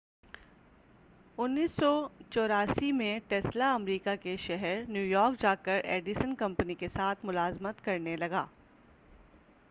1884ء میں Tesla America کے شہر نیو یارک جا کر ایڈیسن کمپنی کے ساتھ ملازمت کرنے لگا